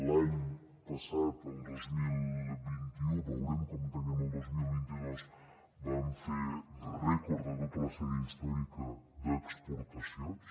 l’any passat el dos mil vint u veurem com tanquem el dos mil vint dos vam fer rècord de tota la sèrie històrica d’exportacions